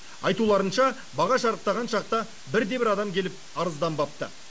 айтуларынша баға шарықтаған шақта бірде бір адам келіп арызданбапты